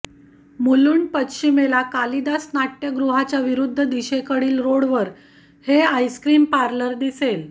मुलूंड पश्चिमेला कालिदास नाट्यगृहाच्या विरुद्ध दिशेकडील रोडवर हे आइसक्रीम पार्लर दिसेल